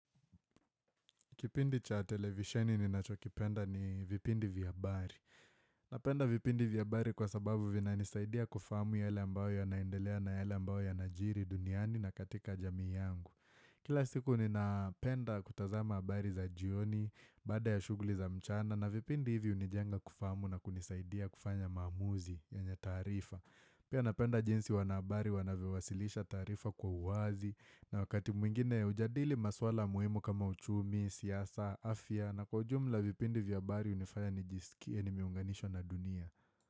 Kipindi cha televisheni ninacho kipenda ni vipindi vya habari. Napenda vipindi vya habari kwa sababu vinanisaidia kufahamu yale ambayo yanaendelea na yale ambayo yanajiri duniani na katika jamii yangu. Kila siku ninapenda kutazama habari za jioni baada ya shughuli za mchana na vipindi hivi hunijenga kufahamu na kunisaidia kufanya maamuzi yenye taarifa. Pia napenda jinsi wanahabari wanavyowasilisha taarifa kwa uwazi na wakati mwingine hujadili maswala muhimu kama uchumi, siasa, afya na kwa ujumla vipindi vya habari hunifanya nijisikie nimeunganishwa na dunia.